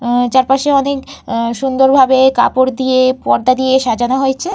আ চারপাশে অনেক আ সুন্দর ভাবে কাপড় দিয়ে পর্দা দিয়ে সাজানো হয়েছে।